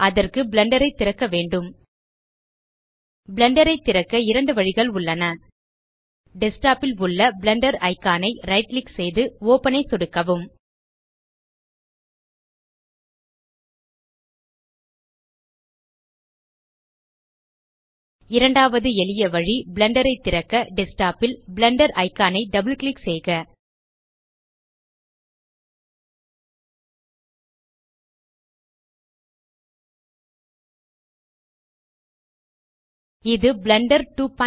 அதற்கு பிளெண்டர் ஐ திறக்க வேண்டும் பிளெண்டர் ஐ திறக்க இரண்டு வழிகள் உள்ளன டெஸ்க்டாப் ல் உள்ள பிளெண்டர் இக்கான் ஐ ரைட் கிளிக் செய்து ஒப்பன் ஐ சொடுக்கவும் இரண்டாவது எளிய வழி பிளெண்டர் ஐ திறக்க டெஸ்க்டாப் ல் பிளெண்டர் இக்கான் ஐ டபிள் கிளிக் செய்க இது பிளெண்டர் 259